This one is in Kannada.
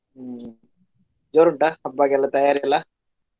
ಹ್ಮ್‌ ಜೋರುಂಟಾ ಹಬ್ಬಗೆಲ್ಲಾ ತಯಾರಿ ಎಲ್ಲಾ?